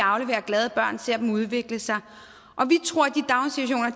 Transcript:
afleverer glade børn ser dem udvikle sig og vi tror at